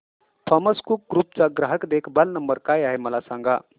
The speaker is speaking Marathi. थॉमस कुक ग्रुप चा ग्राहक देखभाल नंबर काय आहे मला सांगा